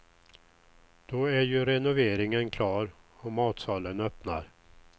Då är ju renoveringen klar och matsalen öppnar.